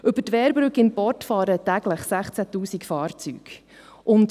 Über die Wehrbrücke in Port fahren täglich 16 000 Fahrzeuge.